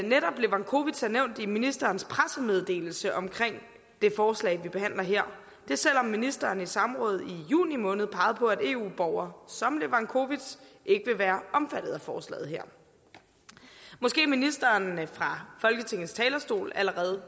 netop levakovic er nævnt i ministerens pressemeddelelse om det forslag vi behandler her og det selv om ministeren i et samråd i juni måned pegede på at eu borgere som levakovic ikke vil være omfattet af forslaget her måske ministeren fra folketingets talerstol allerede